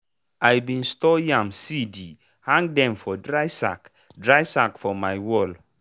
i bin store yam seedi hang dem for dry sack dry sack for my wall.